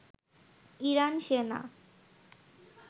Iran সেনা